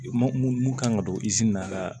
Mun mun kan ka don izin na ka